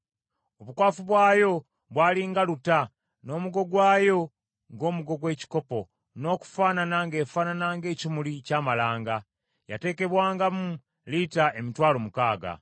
Obukwafu bwayo bwali nga luta, n’omugo gwayo ng’omugo gw’ekikopo, n’okufaanana ng’efaanana ng’ekimuli ky’amalanga. Yatekebwangamu lita emitwalo mukaaga.